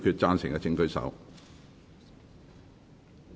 贊成的請舉手。